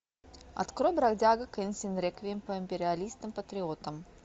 открой бродяга кэнсин реквием по империалистам патриотам